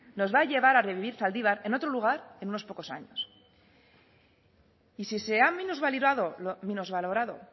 nos va a llevar a revivir zaldibar en otro lugar en unos pocos años y si se han minusvalorado